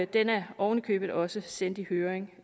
den er oven i købet også sendt i høring